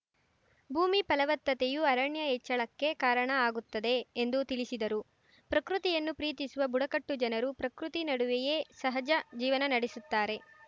ಭೂಮಿ ಫಲವತ್ತತೆಯು ಅರಣ್ಯ ಹೆಚ್ಚಳಕ್ಕೆ ಕಾರಣ ಆಗುತ್ತದೆ ಎಂದು ತಿಳಿಸಿದರು ಪ್ರಕೃತಿಯನ್ನು ಪ್ರೀತಿಸುವ ಬುಡಕಟ್ಟು ಜನರು ಪ್ರಕೃತಿ ನಡುವೆಯೆ ಸಹಜ ಜೀವನ ನಡೆಸುತ್ತಾರೆ